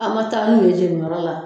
An ma taa n'u ye jeniyɔrɔ la